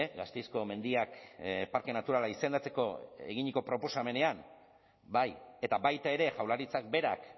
gasteizko mendiak parke naturala izendatzeko eginiko proposamenean bai eta baita ere jaurlaritzak berak